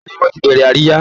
Bẹ́ẹ̀ ni, wọ́n ti bẹ̀rẹ̀ àríyá